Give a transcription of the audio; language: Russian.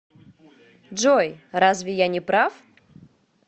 джой разве я не прав